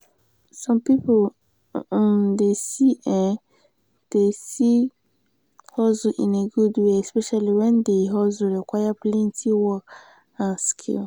some pipo um dey see um dey see hustle in a good way especially when di hustle require plenty work and skill